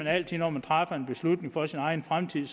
altid når man træffer en beslutning for sin egen fremtid